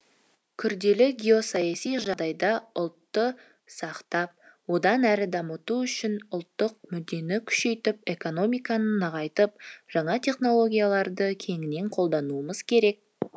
күрделі геосаяси жағдайда ұлтты сақтап одан әрі даму үшін ұлттық мүддені күшейтіп экономиканы нығайтып жаңа технологияларды кеңінен қолдануымыз керек